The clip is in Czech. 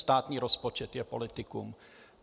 Státní rozpočet je politikum.